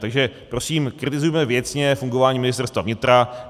Takže prosím kritizujme věcně fungování Ministerstva vnitra.